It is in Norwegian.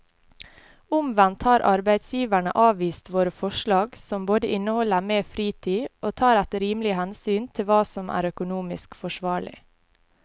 Omvendt har arbeidsgiverne avvist våre forslag som både inneholder mer fritid og tar et rimelig hensyn til hva som er økonomisk forsvarlig.